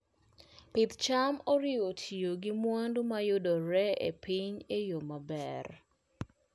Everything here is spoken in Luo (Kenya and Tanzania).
Pidh cham oriwo tiyo gi mwandu ma yudore e piny e yo maber.